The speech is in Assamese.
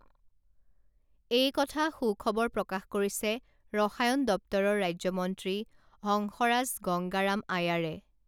এইকথা সুখবৰ প্ৰকাশ কৰিছে ৰসায়ন দপ্তৰৰ ৰাজ্যমন্ত্ৰী হংসৰাজ গংগাৰাম আয়াৰে